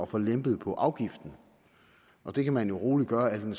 få lempet på afgiften og det kan man roligt gøre al den